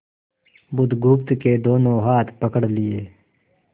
बुधगुप्त के दोनों हाथ पकड़ लिए